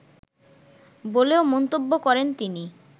বলেও মন্তব্য করেন তিনি